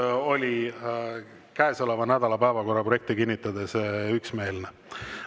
Juhatus oli käesoleva nädala päevakorra projekti kinnitades üksmeelne.